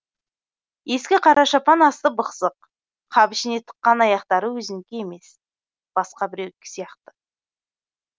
ескі қара шапан асты бықсық қап ішіне тыққан аяқтары өзінікі емес басқа біреудікі сияқты